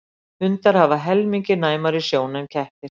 hundar hafa helmingi næmari sjón en kettir